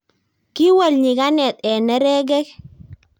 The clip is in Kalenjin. kiwol nyikanet eng nerekek